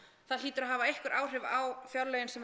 það hlýtur að hafa einhver áhrif á fjárlögin sem við